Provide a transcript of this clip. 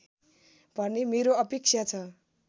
भन्ने मेरो अपेक्षा छ